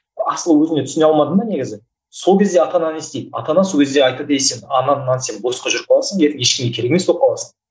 асылы өзіңе түсіне алмадың ба негізі сол кезде ата ана не істейді ата ана сол кезде айтады ей сен босқа жүріп қаласың ертең ештеңе керек емес болып қаласың